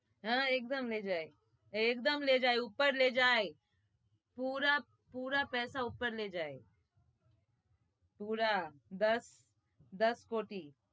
હા એકદમ લે જઈ એકદમ લે જઈ ઉપર લે જઈ પુરા પેસા ઉપર લઇ જાય દસ કોટી